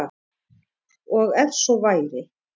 Og ef svo væri